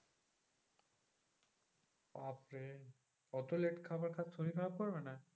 বাপরে অত late খাবার খাস শরীর খারাপ করবে না?